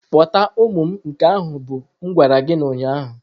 Kpọta ụmụ m nke ahụ bụ m gwara gị ụnyahụ.